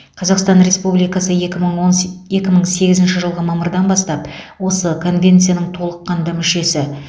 қазақстан республикасы екі мың он се екі мың сегізінші жылғы мамырдан бастап осы конвенцияның толыққанды мүшесі